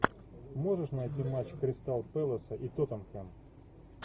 можешь найти матч кристал пэласа и тоттенхэм